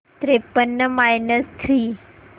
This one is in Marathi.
त्रेपन्न मायनस थ्री